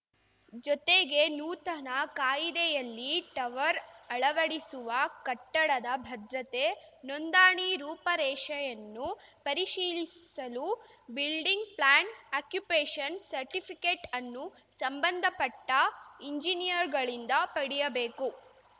ಜೊತೆಗೆ ನೂತನ ಕಾಯಿದೆಯಲ್ಲಿ ಟವರ್ ಅಳವಡಿಸುವ ಕಟ್ಟಡದ ಭದ್ರತೆ ನೋಂದಾಣಿ ರೂಪರೇಷೆಯನ್ನು ಪರಿಶೀಲಿಸಲು ಬಿಲ್ಡಿಂಗ್‌ ಪ್ಲಾನ್‌ ಆಕ್ಯುಪೇಷನ್‌ ಸರ್ಟಿಫಿಕೇಟ್ ಅನ್ನು ಸಂಬಂಧಪಟ್ಟಎಂಜಿನಿಯರ್‌ಗಳಿಂದ ಪಡೆಯಬೇಕು